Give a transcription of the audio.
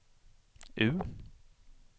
U